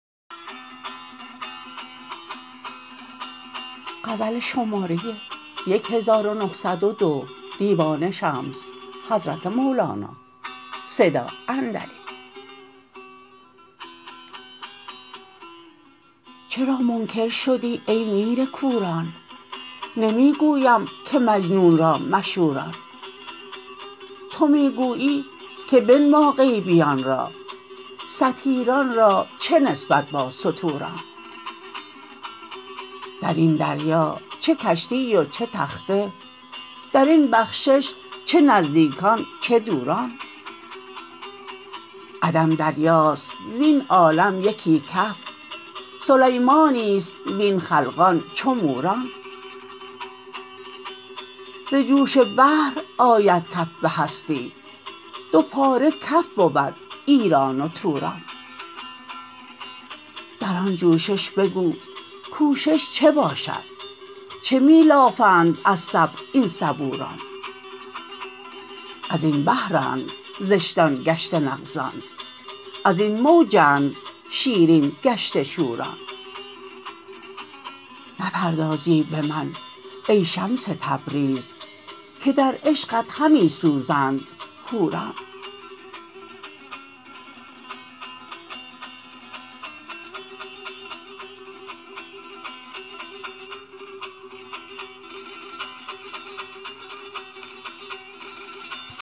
چرا منکر شدی ای میر کوران نمی گویم که مجنون را مشوران تو می گویی که بنما غیبیان را ستیران را چه نسبت با ستوران در این دریا چه کشتی و چه تخته در این بخشش چه نزدیکان چه دوران عدم دریاست وین عالم یکی کف سلیمانی است وین خلقان چو موران ز جوش بحر آید کف به هستی دو پاره کف بود ایران و توران در آن جوشش بگو کوشش چه باشد چه می لافند از صبر این صبوران از این بحرند زشتان گشته نغزان از این موجند شیرین گشته شوران نپردازی به من ای شمس تبریز که در عشقت همی سوزند حوران